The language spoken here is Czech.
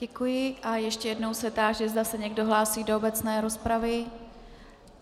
Děkuji a ještě jednou se táži, zda se někdo hlásí do obecné rozpravy.